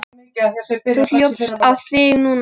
Þú hljópst á þig núna.